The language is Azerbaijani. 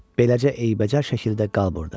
Beləcə eybəcər şəkildə qal burada.